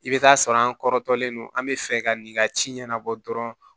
I bɛ taa sɔrɔ an kɔrɔtɔlen don an bɛ fɛ ka nin ka ci ɲɛnabɔ dɔrɔn